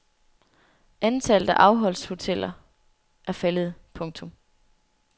Antallet af afholdshoteller er faldet. punktum